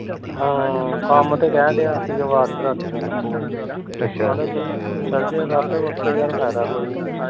ਹਾਂ ਕੰਮ ਤੇ ਕਹਿਣ ਡਿਆ ਸੀ ਵਾਰਿਸ ਰਾਤੀ ਮੈਨੂੰ ਕਹਿੰਦਾ ਚੱਲ ਜਾਇਆ ਕਰ ਓਥੇ ਯਰ ਫਾਇਦਾ ਕੋਈ ਨੀ